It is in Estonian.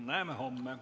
Näeme homme.